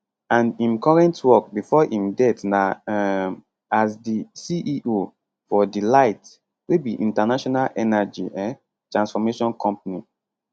and im current work before im death na um as di ceo for dlight wey be international energy um transformation company